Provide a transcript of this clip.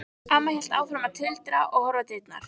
Amma hélt áfram að tuldra og horfa á dyrnar.